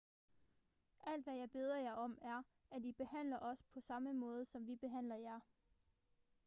alt hvad jeg beder jer om er at i behandler os på samme måde som vi behandler jer